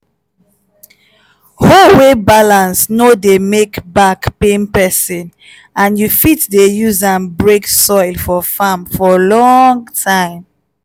hoe wey balance no dey make back pain peson and you fit dey use am break soil for farm for long time.